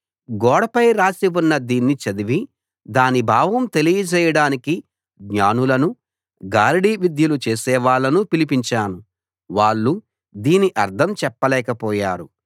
గోడపై రాసి ఉన్న దీన్ని చదివి దాని భావం తెలియజేయడానికి జ్ఞానులను గారడీ విద్యలు చేసేవాళ్ళను పిలిపించాను వాళ్ళు దీని అర్థం చెప్పలేకపోయారు